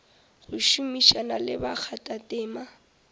go šomišana le bakgathatema ba